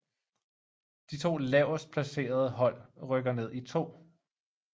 De to lavest placerede hold rykker ned i 2